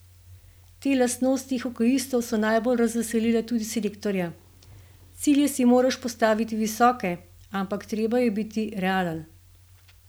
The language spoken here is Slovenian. Te lastnosti hokejistov so najbolj razveselile tudi selektorja: 'Cilje si moraš postaviti visoke, ampak treba je biti realen.